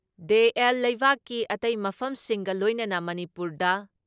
ꯗꯦ ꯑꯦꯜ ꯂꯩꯕꯥꯛꯀꯤ ꯑꯇꯩ ꯃꯐꯝꯁꯤꯡꯒ ꯂꯣꯏꯅꯅ ꯃꯅꯤꯄꯨꯔꯗ